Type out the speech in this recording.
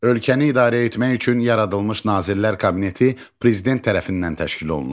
Ölkəni idarə etmək üçün yaradılmış Nazirlər Kabineti prezident tərəfindən təşkil olunur.